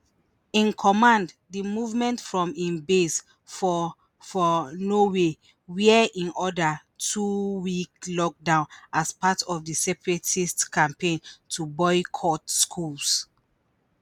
In command di movement from hin base for for Norway wia hin order two-week lockdown as part of di separatist campaign to boycott schools